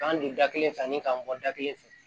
K'an don da kelen fɛ ni kamɔgɔ da kelen fɛ